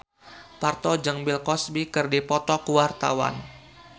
Parto jeung Bill Cosby keur dipoto ku wartawan